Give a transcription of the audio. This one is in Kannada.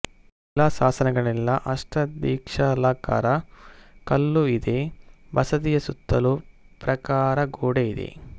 ಶಿಲಾಶಾಸನಗಳಿಲ್ಲ ಅಷ್ಟದಿಕ್ಷಾಲಕರ ಕಲ್ಲು ಇದೆ ಬಸದಿಯ ಸುತ್ತಲೂ ಪ್ರಾಕಾರ ಗೋಡೆ ಇದೆ